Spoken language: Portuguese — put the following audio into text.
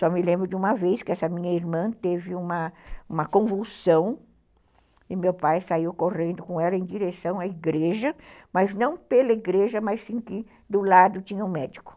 Só me lembro de uma vez que essa minha irmã teve uma convulsão e meu pai saiu correndo com ela em direção à igreja, mas não pela igreja, mas sim que do lado tinha um médico.